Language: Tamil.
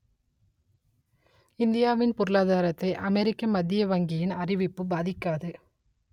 இந்தியாவின் பொருளாதாரத்தை அமெரிக்க மத்திய வங்கியின் அறிவிப்பு பாதிக்காது